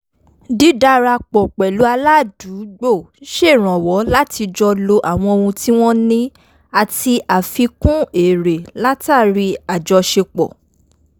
dídarapọ̀ pẹ̀lú aládùúgbò ń ṣèrànwọ́ láti jọ lo àwọn ohun tí wọn ní ati àfikún èrè látàri àjoṣepọ̀